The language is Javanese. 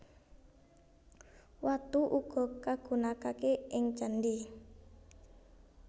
Watu uga kagunakaké ing candhi